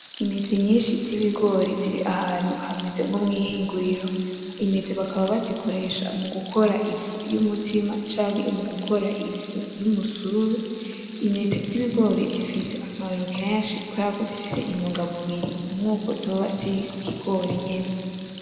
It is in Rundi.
Intete nyinshi z'ibigori zir' ahantu hameze nko mw'ihinguriro. Intete bakaba bazikoresha mu gukora ifu y'umutsima canke mu gukora ifu y'umusururu. Intete z'ibigori zifise akamaro kenshi kubera ko zifise intungamubiri nkuko zoba ziri ku kigori nyene.